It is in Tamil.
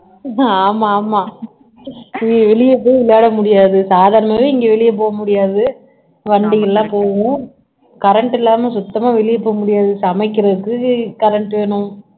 ஆமா ஆமா நீ வெளிய போய் விளையாட முடியாது சாதாரணமாவே இங்க வெளிய போக முடியாது வண்டியெல்லாம் போகும் current இல்லாம சுத்தமா வெளிய போக முடியாது சமைக்கிறதுக்கு current வேணும்